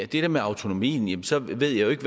det der med autonomien så ved jeg jo ikke